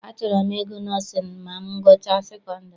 Achọrọ m ịgụ nọọsịn ma m gụchaa sekondiri.